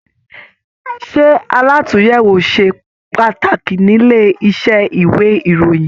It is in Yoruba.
Ṣe àlatúnyẹwò ṣe pàtàkì nílé iṣẹ ìwé ìròyìn?